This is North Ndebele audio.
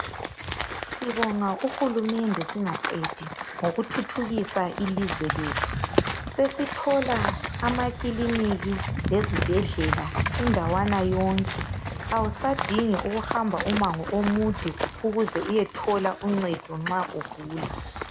Sibonga uhulumende singaqedi ngokuthuthukisa ilizwe lethu. Sesithola amakiliniki lezibhedlela indawana yonke, awusadingi ukuhamba umango omude ukuze uyethola uncedo nxa ugula.